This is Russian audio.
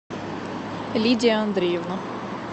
лидия андреевна